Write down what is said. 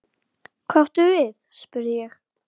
Hvað áttu við spurði ég.